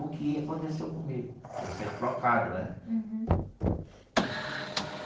o que aconteceu comigo, eu ser trocado, né? Uhum.